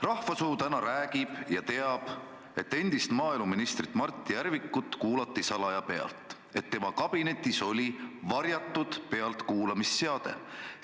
Rahva suu täna räägib ja rahvas teab, et endist maaeluministrit Mart Järvikut kuulati salaja pealt, et tema kabinetis oli varjatud pealtkuulamisseade.